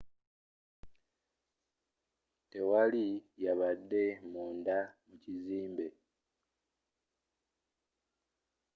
tewali yabadde munda mu kizimbe